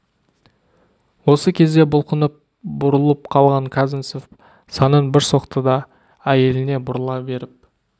осы кезде бұлқынып бұрылып қалған казанцев санын бір соқты да әйеліне бұрыла беріп